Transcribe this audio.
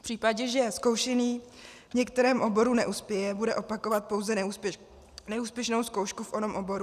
V případě, že zkoušený v některém oboru neuspěje, bude opakovat pouze neúspěšnou zkoušku v onom oboru?